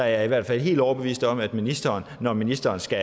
jeg i hvert fald helt overbevist om at ministeren når ministeren skal